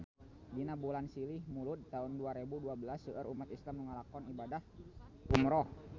Dina bulan Silih Mulud taun dua rebu dua belas seueur umat islam nu ngalakonan ibadah umrah